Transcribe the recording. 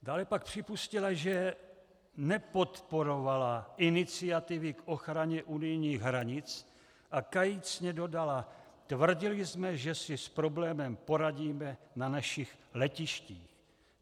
Dále pak připustila, že nepodporovala iniciativy k ochraně unijních hranic, a kajícně dodala: "Tvrdili jsme, že si s problémem poradíme na našich letištích.